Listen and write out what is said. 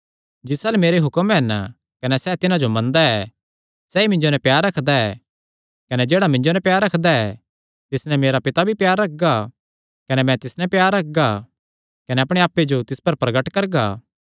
जिस अल्ल मेरे हुक्म हन कने सैह़ तिन्हां जो मनदा ऐ सैई मिन्जो नैं प्यार रखदा ऐ कने जेह्ड़ा मिन्जो नैं प्यार रखदा ऐ तिस नैं मेरा पिता भी प्यार रखगा कने मैं तिस नैं प्यार रखगा कने अपणे आप्पे जो तिस पर प्रगट करगा